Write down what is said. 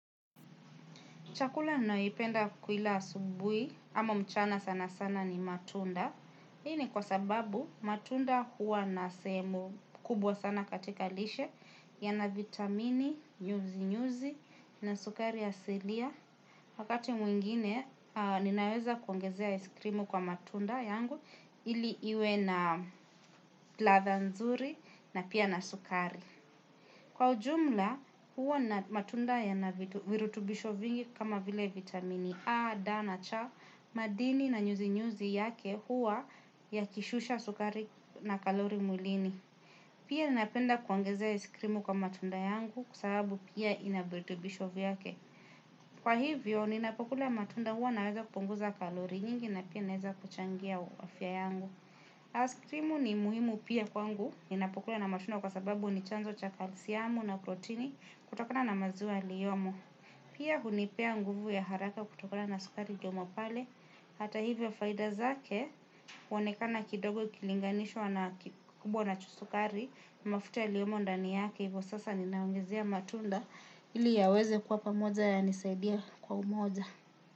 Chakula naipenda kuila asubuhi ama mchana sana sana ni matunda. Hini kwa sababu matunda huwa nasehemu kubwa sana katika lishe yana vitamini, nyuzi-nyuzi na sukari ya asilia. Wakati mwingine ninaweza kuongezea iskrimu kwa matunda yangu ili iwe na ladha nzuri na pia na sukari. Kwa ujumla, huwa na matunda ya na virutubisho vingi kama vile vitamini A, Da, na, Cha, madini na nyuzi-nyuzi yake huwa yakishusha sukari na kalori mwilini. Pia ninapenda kuongezea iskrimu kwa matunda yangu kwa sababu pia ina virutubisho vyake. Kwa hivyo, ninapokula matunda huwa naweza kupunguza kalori nyingi na pia naweza kuchangia afya yangu. Askrimu ni muhimu pia kwangu, ninapokula na matunda kwa sababu ni chanzo cha kalsiamu na protini kutokona na maziwa yaliyomo. Pia hunipea nguvu ya haraka kutokana na sukari iliomo pale, hata hivyo faida zake, huonekana kidogo ikilinganishwa na kubwa na sukari, mafuta yaliyomo ndani yake, hivyo sasa ninaongezea matunda, ili yaweze kuwa pamoja yanisaidie kwa umoja.